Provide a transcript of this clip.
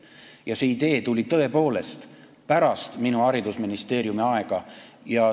Ja see idee tuli tõepoolest pärast minu haridusministeeriumis oleku aega.